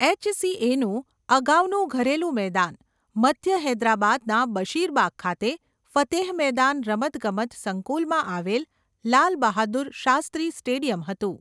એચસીએનું અગાઉનું ઘરેલૂ મેદાન મધ્ય હૈદરાબાદના બશીરબાગ ખાતે ફતેહ મેદાન રમતગમત સંકૂલમાં આવેલ લાલ બહાદુર શાસ્ત્રી સ્ટેડિયમ હતું.